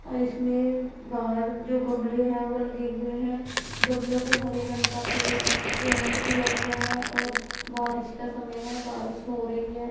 और इसमें बाहर जो गमले हैं वो लगे हुए हैं गमले को हरे रंग का पे पेंट किया हुआ है और बारिश का समय है बारिश हो रही है।